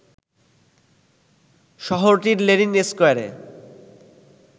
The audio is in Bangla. শহরটির লেনিন স্কয়ারে